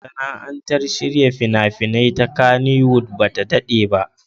Masana'antar shirya fina-finai ta Kannywood ba ta daɗe ba.